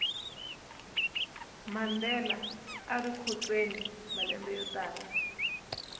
mandela arikhotsweni malembe yotala